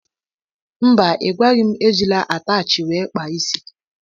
Mba ịgwaghi m ejila atachi wee kpaa isi.